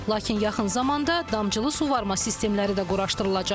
Lakin yaxın zamanda damcılı suvarma sistemləri də quraşdırılacaq.